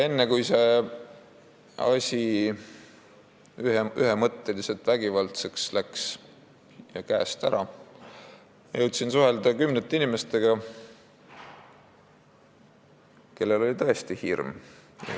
Enne, kui see asi ühemõtteliselt vägivaldseks ja käest ära läks, jõudsin suhelda kümnete inimestega, kellel oli tõesti hirm.